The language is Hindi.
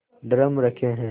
ड्रम रखे हैं